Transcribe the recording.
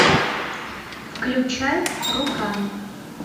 включай рука